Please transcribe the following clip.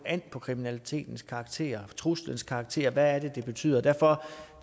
an på kriminalitetens karakter truslens karakter hvad det er det betyder derfor